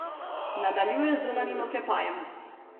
Nadaljuje z zunanjim oklepajem.